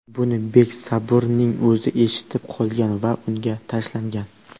Buni Beg Saburning o‘zi eshitib qolgan va unga tashlangan.